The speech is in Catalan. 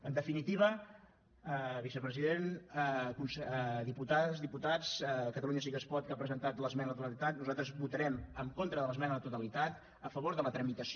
en definitiva vicepresident diputades diputats catalunya sí que es pot que ha presentat l’esmena a la totalitat nosaltres votarem en contra de l’esmena a la totalitat a favor de la tramitació